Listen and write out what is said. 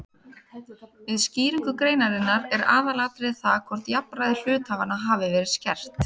Við skýringu greinarinnar er aðalatriðið það hvort jafnræði hluthafanna hafi verið skert.